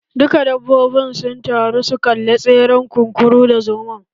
Duka dabbobin sun taru su kalla tseren kunkuru da zomon